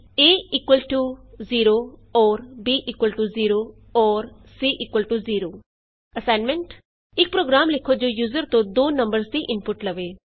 ਏ 0 ।। B 0 ।। C 0 assignment ਇਕ program ਲਿਖੋ ਜੋ ਯੂਜ਼ਰ ਤੋਂ ਦੋ ਨੰਬਰਸ ਦੀ ਇਨਪੁਟ ਲਵੇ